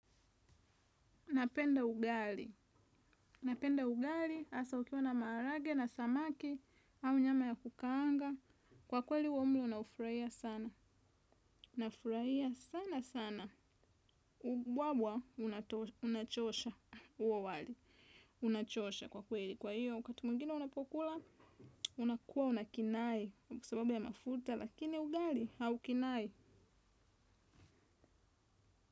Napenda ugali, napenda ugali, asa ukiwa na marage na samaki, au nyama ya kukaanga, kwa kweli uomlo na ufraia sana, na ufraia sana sana, wabwa unachosha uo wali, unachosha kwa kweli, kwa hiyo wakati mwingine unapokula, unakuwa unakinai, kwasababu ya mafuta, lakini ugali haukinai.